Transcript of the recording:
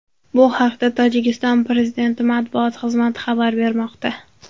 Bu haqda Tojikiston Prezidenti matbuot xizmati xabar bermoqda .